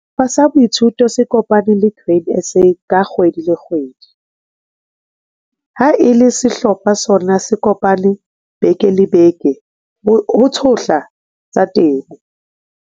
Sehlopha sa boithuto se kopana le Grain SA ka kgwedi le kgwedi. Ha e le sehlopha sona se kopana beke le beke ho tshohla tsa temo.